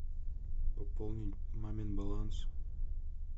пополни мамин баланс